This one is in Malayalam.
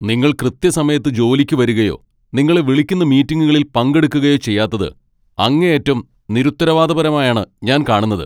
നിങ്ങൾ കൃത്യസമയത്ത് ജോലിക്ക് വരുകയോ നിങ്ങളെ വിളിക്കുന്ന മീറ്റിംഗുകളിൽ പങ്കെടുക്കുകയോ ചെയ്യാത്തത് അങ്ങേയറ്റം നിരുത്തരവാദപരമായാണ് ഞാൻ കാണുന്നത്.